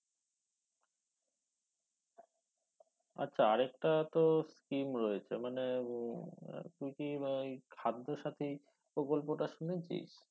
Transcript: আচ্ছা আরেকটা তো স্কিম রয়েছে মানে উম তুই কি ভাই খাদ্য সাথি প্রকল্পটা শুনেছিস?